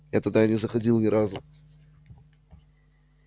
я туда и не заходил ни разу